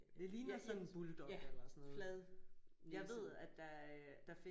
Det ligner sådan en bulldog eller sådan noget